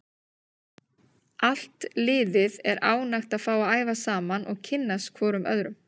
Allt liðið er ánægt að fá að æfa saman og kynnast hvorum öðrum.